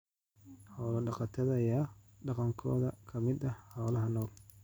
Xoolo-dhaqatada ayaa dhaqankooda ka mid ah xoolaha nool.